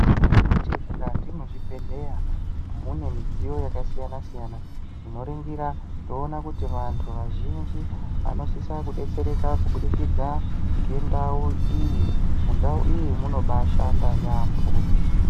Ngenyaya yekuti mukati mezvibhedleya mune midziyo yakasiyana siyana moringira ndoona kuti vandu vazhinji vanosisa kudetsereka kuburikidza ngendau iyi, mundau iyi munobaishanda yambo.